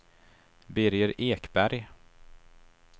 Birger Ekberg